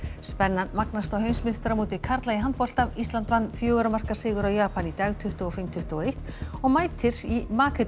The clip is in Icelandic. spennan magnast á heimsmeistaramóti karla í handbolta ísland vann fjögurra marka sigur á Japan í dag tuttugu og fimm til tuttugu og eitt og mætir í